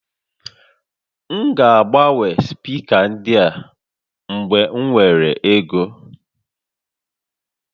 M ga-agbanwe spika ndị a mgbe m nwere ego